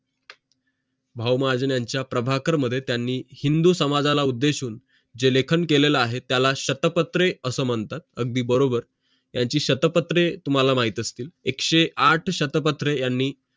भाऊ महाजन यांचा प्रभाकर मध्ये त्यांनी हिंदू समाजाला उद्देशून जे लेखन केलेलं आहे त्याला शतपत्रे अशे मानतात अगदी बरोबर त्यांची शतपत्रे तुम्हाला माहीतच असेल एकशे आठ शतसर्पसत्र यांनी